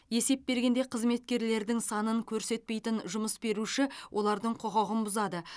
есеп бергенде қызметкерлердің санын көрсетпейтін жұмыс беруші олардың құқығын бұзады